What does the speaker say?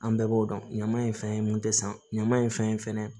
An bɛɛ b'o dɔn ɲama in fɛn mun tɛ san ɲama ye fɛn